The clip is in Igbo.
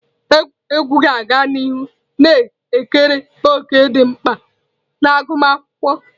Egwuregwu ga-aga n'ihu na-ekere òkè dị mkpa na agụmakwụkwọ.